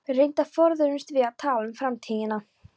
Reyndar forðuðumst við að tala um framtíðina.